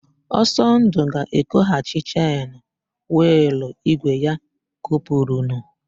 Ọsọndụ ga-ekoghachi chen wịịlụ ígwè ya kopurunu.